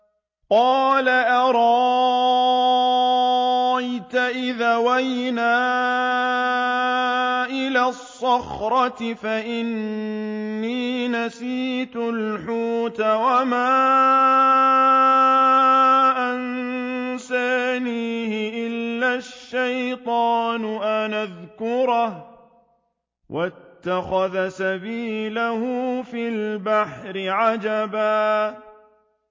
قَالَ أَرَأَيْتَ إِذْ أَوَيْنَا إِلَى الصَّخْرَةِ فَإِنِّي نَسِيتُ الْحُوتَ وَمَا أَنسَانِيهُ إِلَّا الشَّيْطَانُ أَنْ أَذْكُرَهُ ۚ وَاتَّخَذَ سَبِيلَهُ فِي الْبَحْرِ عَجَبًا